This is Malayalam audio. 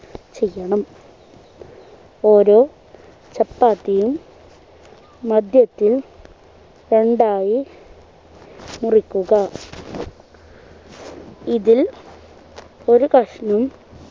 ചെയ്യണം ഓരോ ചപ്പാത്തിയും മധ്യത്തിൽ രണ്ടായി മുറിക്കുക ഇതിൽ ഒരു കഷ്ണം